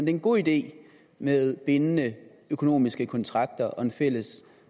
er en god idé med bindende økonomiske kontrakter og en fælles